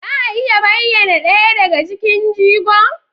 Za a iya bayyana ɗaya daga cikin jigon?